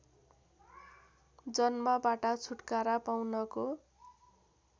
जन्मबाट छुटकारा पाउनको